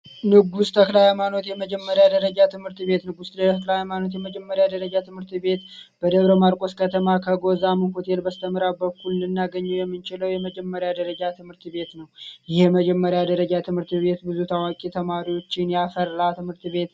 ንጉስ ተክለሃይማኖት የመጀመሪያ ደረጃ ትምህርት ቤት ንጉስ የመጀመሪያ ደረጃ ትምህርት ቤት በደብረ ማርቆስ ከተማ ከጎን ልናገኝ የምንችለው የመጀመሪያ ደረጃ ትምህርት ቤት ነው የመጀመሪያ ደረጃ ትምህርት ቤት ብዙ ታዋቂ ተማሪዎችን ት /ቤት